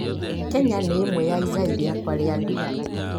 Kenya nĩ ĩmwe ya igai rĩakwa rĩa nduire.